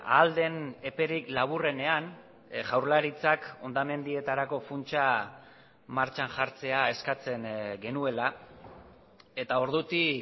ahal den eperik laburrenean jaurlaritzak hondamendietarako funtsa martxan jartzea eskatzen genuela eta ordutik